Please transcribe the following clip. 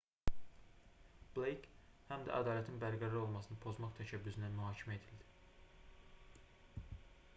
bleyk həm də ədalətin bərqərar olmasını pozmaq təşəbbüsündən mühakimə edildi